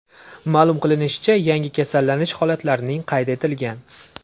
Ma’lum qilishlaricha, yangi kasallanish holatlarining qayd etilgan.